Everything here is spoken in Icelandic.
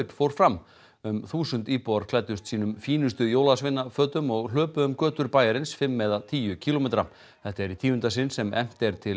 fór fram um þúsund íbúar klæddust sínum fínustu jólasveinafötum og hlupu um götur bæjarins fimm eða tíu kílómetra þetta er í tíunda sinn sem efnt er til